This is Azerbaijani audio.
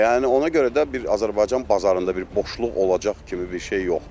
Yəni ona görə də bir Azərbaycan bazarında bir boşluq olacaq kimi bir şey yoxdur.